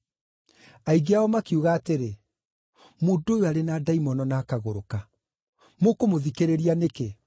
Aingĩ ao makiuga atĩrĩ, “Mũndũ ũyũ arĩ na ndaimono na akagũrũka. Mũkũmũthikĩrĩria nĩkĩ?”